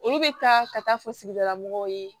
Olu bɛ taa ka taa fɔ sigidala mɔgɔw ye